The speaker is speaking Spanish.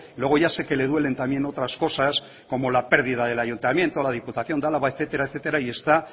luego ya sé que le duelen también otras cosas como la pérdida del ayuntamiento la diputación de álava etcétera etcétera y está